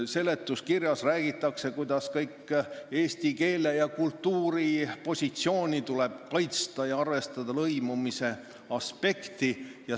Seletuskirjas räägitakse, kuidas eesti keele ja kultuuri positsiooni tuleb kaitsta ja arvestada lõimumise aspekti.